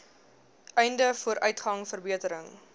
einde vooruitgang verbetering